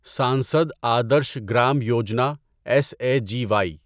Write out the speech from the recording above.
Sansad Adarsh Gram Yojana S A G Y